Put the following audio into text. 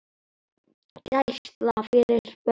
Gæsla fyrir börn.